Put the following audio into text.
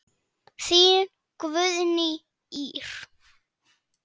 Þín Guðný Ýr.